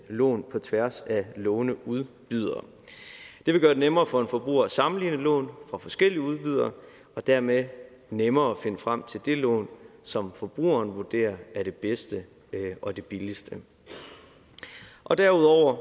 lån på tværs af lånudbydere det vil gøre det nemmere for en forbruger at sammenligne lån fra forskellige udbydere og dermed nemmere at finde frem til det lån som forbrugeren vurderer er det bedste og det billigste derudover